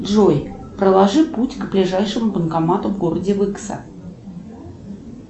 джой проложи путь к ближайшему банкомату в городе выкса